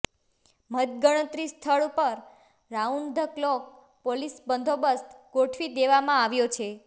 મતગણતરી સ્થળ પર રાઉન્ડ ધ ક્લોક પોલીસ બંદોબસ્ત ગોઠવી દેવામાં આવ્યો છે